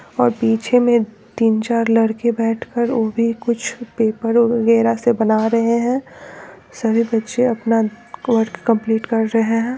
और पीछे मे तीन चार लड़के बैठ कर वो भी कुछ पेपर वगहरा से बना रहे है सभी बच्चे अपना वर्क कम्प्लीट कर रहे है।